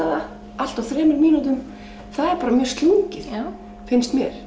það allt á þrem mínútum það er bara mjög slungið finnst mér